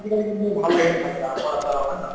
আজিকালি কিন্তু ভাল লাগে দেই খাই পেলাই আমৰ আচাৰ হওক হয় নে নহয়